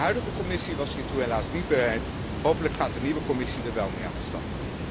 De huidige Commissie was hiertoe helaas niet bereid, hopelijk gaat de nieuwe Commissie er wel mee aan de slag.